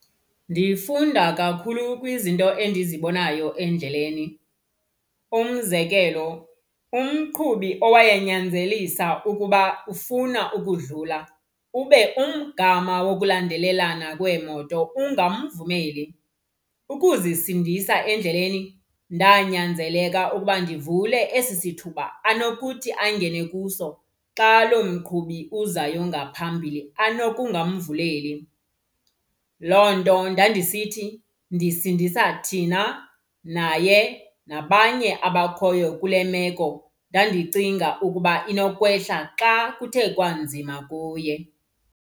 Ndifunda kakhulu kwizinto endizibonayo endleleni. Umzekelo, umqhubi owaye nyanzelisa ukuba ufuna ukudlula ube umgama wokulandelelana kweemoto ungamvumeli. Ukuzisindisa endleleni ndanyanzeleka ukuba ndivule esi sithuba anokuthi angene kuso xa loo mqhubi uzayo ngaphambili anokungamvuleli. Loo nto ndandisithi ndisindisa thina, naye nabanye abakhoyo kule meko ndandicinga ukuba inokwehla xa kuthe kwanzima kuye.